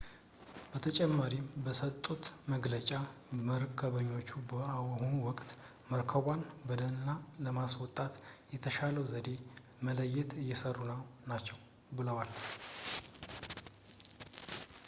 በተጨማሪም በሰጡት መግለጫ መርከበኞቹ በአሁኑ ወቅት መርከቧን በደህና ለማስወጣት የተሻለውን ዘዴ ለመለየት እየሰሩ ናቸው ብለዋል